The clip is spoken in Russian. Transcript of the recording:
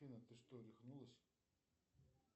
афина ты что рехнулась